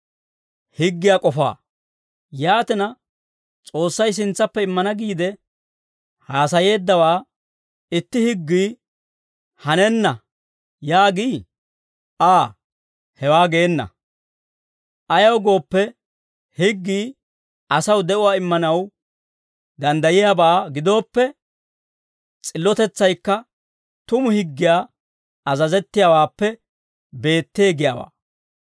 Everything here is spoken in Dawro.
Yaatina, S'oossay sintsappe immana giide haasayeeddawaa, itti higgii, «Hanenna» yaagii? A"a! Hewaa geena. Ayaw gooppe, higgii asaw de'uwaa immanaw danddayiyaabaa gidooppe, s'illotetsaykka tumu higgiyaa azazettiyaawaappe beettee giyaawaa.